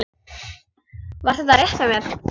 Var þetta rétt hjá mér?